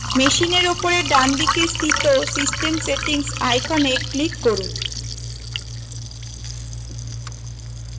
machine উপরে ডানদিকে স্থিত system settings icon click করুন